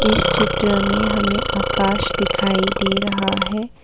इस चित्र में हमें आकाश दिखाई दे रहा है।